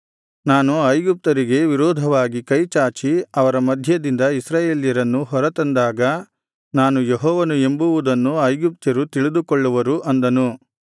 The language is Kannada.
ನಾನು ಐಗುಪ್ತ್ಯರಿಗೆ ವಿರೋಧವಾಗಿ ಕೈಚಾಚಿ ಅವರ ಮಧ್ಯದಿಂದ ಇಸ್ರಾಯೇಲರನ್ನು ಹೊರತಂದಾಗ ನಾನು ಯೆಹೋವನು ಎಂಬುವುದನ್ನು ಐಗುಪ್ತ್ಯರು ತಿಳಿದುಕೊಳ್ಳುವರು ಅಂದನು